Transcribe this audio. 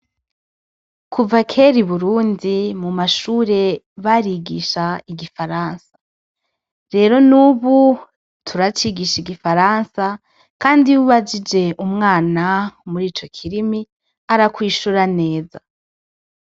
Kuva kera i Burundi mu mashure barigisha igifaransa, rero nubu turacigisha igifaransa kandi iyo ubajije umwana muri ico kirimi arakwishura neza.